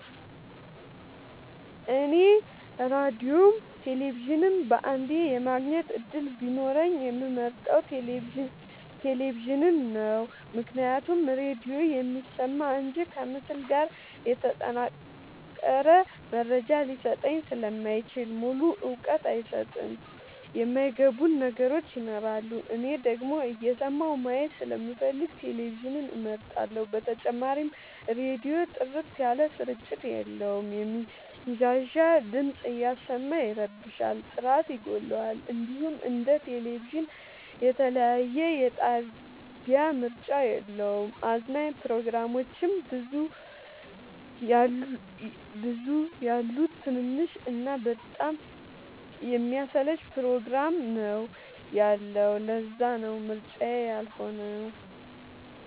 እኔ ራዲዮም ቴሌቪዥንም በአንዴ የማግኘት እድል ቢኖረኝ የምመርጠው። ቴሌቪዥንን ነው ምክንያቱም ራዲዮ የሚሰማ እንጂ ከምስል ጋር የተጠናቀረ መረጃ ሊሰጠኝ ስለማይችል ሙሉ እውቀት አይሰጥም የማይ ገቡን ነገሮች ይኖራሉ። እኔ ደግሞ እየሰማሁ ማየት ስለምፈልግ ቴሌቪዥንን እመርጣለሁ። በተጨማሪም ራዲዮ ጥርት ያለ ስርጭት የለውም የሚንሻሻ ድምፅ እያሰማ ይረብሻል ጥራት ይጎለዋል። እንዲሁም እንደ ቴሌቪዥን የተለያየ የጣቢያ ምርጫ የለውም። አዝናኝ ፕሮግራሞችም ብዙ የሉት ትንሽ እና በጣም የሚያሰለች ፕሮግራም ነው ያለው ለዛነው ምርጫዬ ያልሆ ነው።